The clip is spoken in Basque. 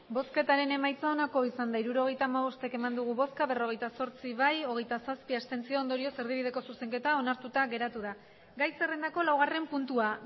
emandako botoak hirurogeita hamabost bai berrogeita zortzi abstentzioak hogeita zazpi ondorioz erdibideko zuzenketa onartuta geratu da gai zerrendako laugarren puntua